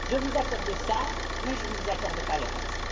Je vous accorde cela, mais je ne vous accorde pas le reste.